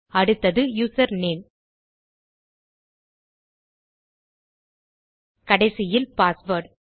அடுத்தது user name கடைசியில் password